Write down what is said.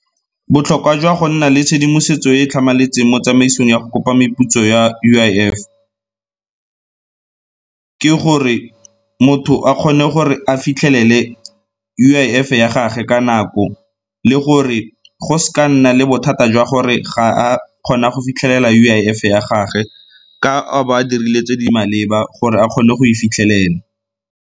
Botlhokwa jwa go nna le tshedimosetso e e tlhamaletseng mo tsamaisong ya go kopa meputso ya U_I_F, ke gore motho a kgone gore a fitlhelele U_I_F-e ya gage ka nako le gore go s'ka ga nna le bothata jwa gore ga a kgona go fitlhelela U_I_F-e ya gage ka a ba dirile tse di maleba gore a kgone go e fitlhelela.